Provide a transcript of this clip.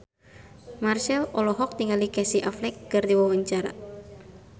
Marchell olohok ningali Casey Affleck keur diwawancara